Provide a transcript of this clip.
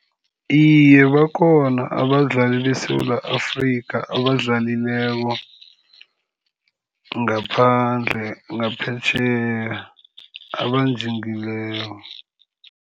Iye, bakhona abadlali beSewula Afrika abadlalileko ngaphandle, ngaphetjheya abanjingileko.